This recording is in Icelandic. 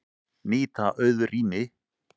Nýta auð rými